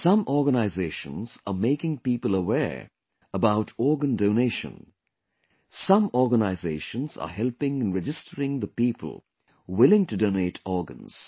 Some organizations are making people aware about organ donation, some organizations are helping in registering the people willing to donate organs